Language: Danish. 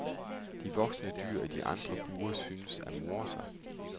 De voksne dyr i de andre bure synes at more sig.